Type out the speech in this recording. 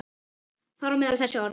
Þar á meðal þessi orð.